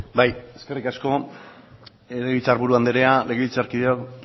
bai eskerrik asko legebiltzarburu andrea legebiltzarkideok